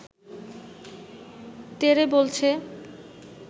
তেড়ে বলছে